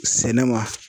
Sɛnɛ ma